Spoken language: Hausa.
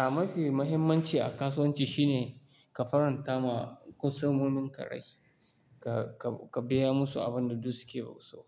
A mafi mahimmanci a kasuwanci shine ka faranta ma kwastomomin ka rai, ka, ka, ka biya musu abin da du suke so.